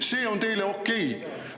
See on teie arvates okei!